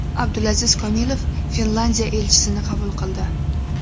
Abdulaziz Komilov Finlandiya elchisini qabul qildi.